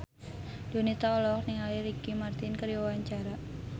Donita olohok ningali Ricky Martin keur diwawancara